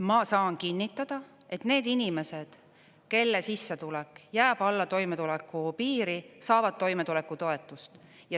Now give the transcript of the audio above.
Ma saan kinnitada, et need inimesed, kelle sissetulek jääb alla toimetulekupiiri, saavad toimetulekutoetust.